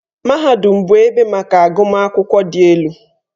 Mahadum bụ ebe maka agụmakwụkwọ dị elu.